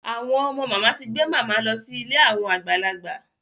Àwọn ọmọ màmá ti gbé màmá lọ sí ilé àwọn àgbàlagbà.